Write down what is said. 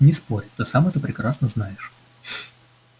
не спорь ты сам это прекрасно знаешь